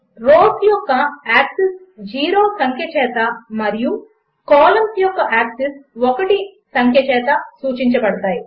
rose యొక్క axis 0 సంఖ్య చేత మరియు కాలంస్ యొక్క యాక్సిస్ 1 సంఖ్య చేత సూచించబడతాయి